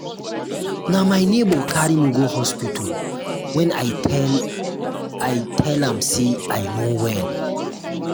na my nebor carry me go hospital wen i tell i tell um am sey i no well.